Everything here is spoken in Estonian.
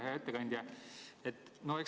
Hea ettekandja!